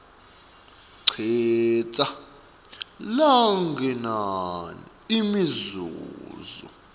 citsa lokungenani imizuzu